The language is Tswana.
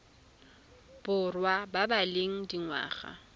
borwa ba ba leng dingwaga